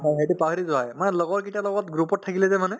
হয় সেইটো পাহৰি যোৱা হয় মানে লগৰ কেইটাৰ লগত group ত থাকিলে যে মানে